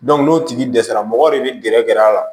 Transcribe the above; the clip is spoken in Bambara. n'o tigi dɛsɛra mɔgɔ de bɛ gɛrɛ a la